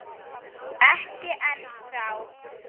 Ekki ennþá.